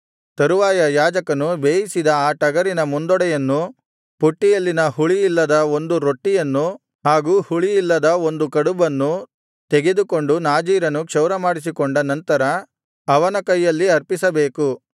ತರುವಾಯ ಯಾಜಕನು ಆ ಟಗರಿನ ಬೇಯಿಸಿದ ಮುಂದೊಡೆಯನ್ನೂ ಪುಟ್ಟಿಯಲ್ಲಿನ ಹುಳಿಯಿಲ್ಲದ ಒಂದು ರೊಟ್ಟಿಯನ್ನು ಹಾಗೂ ಹುಳಿಯಿಲ್ಲದ ಒಂದು ಕಡುಬನ್ನೂ ತೆಗೆದುಕೊಂಡು ನಾಜೀರನು ಕ್ಷೌರಮಾಡಿಸಿಕೊಂಡ ನಂತರ ಅವನ ಕೈಯಲ್ಲಿ ಅರ್ಪಿಸಬೇಕು